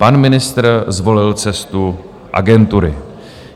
Pan ministr zvolil cestu agentury.